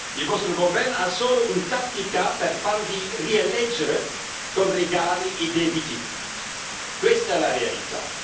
Il vostro governo ha solo una tattica per farvi rieleggere con regali e debiti. Questa è la verità.